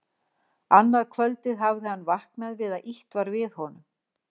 Annað kvöldið hafði hann vaknað við að ýtt var við honum.